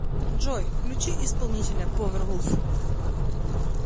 джой включи исполнителя повервулф